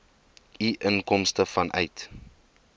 u inkomste vanuit